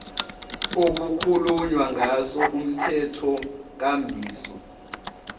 okukhulunywa ngaso kumthethonkambiso